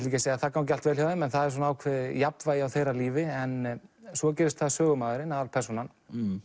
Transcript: ekki að segja að það gangi allt vel hjá þeim en það er svona ákveðið jafnvægi á þeirra lífi en svo gerist það að sögumaðurinn aðalpersónan